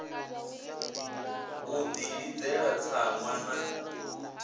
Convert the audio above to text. u ḽi ḽidzela tsaṅwa na